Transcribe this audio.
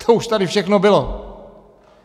To už tady všechno bylo.